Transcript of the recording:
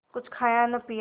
कुछ खाया न पिया